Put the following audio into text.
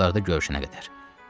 Yaxın vaxtlarda görüşənə qədər.